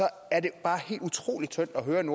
er det bare helt utrolig tyndt at høre en